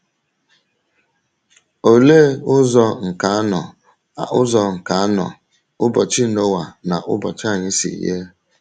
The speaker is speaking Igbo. Olee ụzọ nke anọ ụzọ nke anọ ụbọchị Noa na ụbọchị anyị si yie?